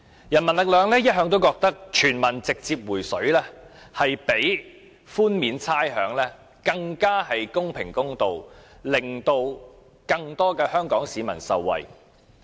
人民力量一向認為全民直接"回水"比寬免差餉更公平公道、也能令更多香港市民受惠。